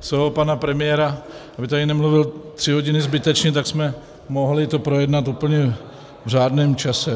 svého pana premiéra, aby tady nemluvil tři hodiny zbytečně, tak jsme to mohli projednat úplně v řádném čase.